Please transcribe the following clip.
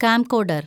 camcorder‍